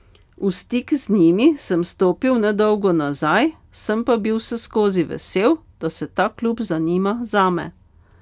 V stik z njimi sem stopil nedolgo nazaj, sem pa bil vseskozi vesel, da se ta klub zanima zame.